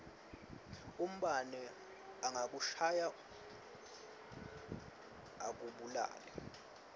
umbane angakushaya akubulale